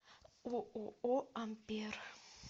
ооо ампер